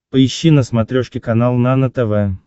поищи на смотрешке канал нано тв